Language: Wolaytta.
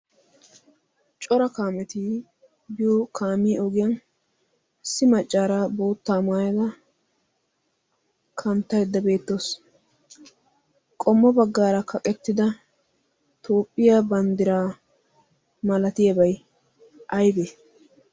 cora kaametii biyo kaamiiya ogiyan ssi maccaaraa boottaa maayada kanttaidda beettawusu qommo baggaara kaqettida toophphiyaa banddiraa malatiyaabai aibee?